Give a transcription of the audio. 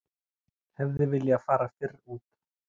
Hefði viljað fara fyrr út